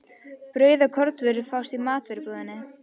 Brauð og kornvörur fást í matvörubúðinni.